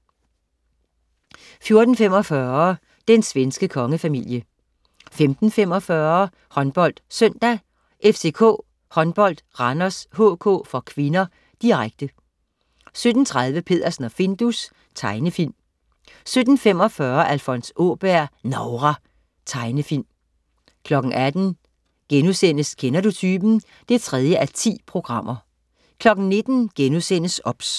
14.45 Den svenske kongefamilie 15.45 HåndboldSøndag: FCK Håndbold-Randers HK (k), direkte 17.30 Peddersen og Findus. Tegnefilm 17.45 Alfons Åberg. Novra. Tegnefilm 18.00 Kender du typen? 3:10* 19.00 OBS*